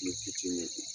Ni fitiinin